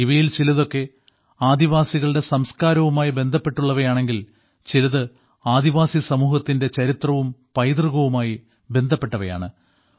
ഇവയിൽ ചിലതൊക്കെ ആദിവാസികളുടെ സംസ്കാരവുമായി ബന്ധപ്പെട്ടുള്ളവയാണെങ്കിൽ ചിലത് ആദിവാസി സമൂഹത്തിന്റെ ചരിത്രവും പൈതൃകവുമായി ബന്ധപ്പെട്ടവയാണ്